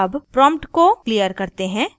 अब prompt को खली करते हैं